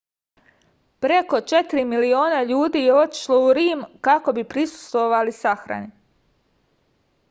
preko 4 miliona ljudi je otišlo u rim kako bi prisustvovali sahrani